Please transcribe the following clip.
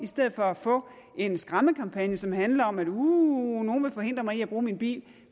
stedet for at få en skræmmekampagne som handler om at uhhh nogle vil forhindre mig i at bruge min bil